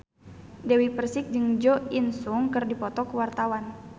Dewi Persik jeung Jo In Sung keur dipoto ku wartawan